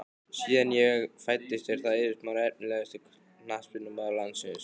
Síðan ég fæddist er það Eiður Smári Efnilegasti knattspyrnumaður landsins?